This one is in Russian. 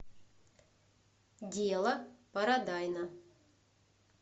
дело парадайна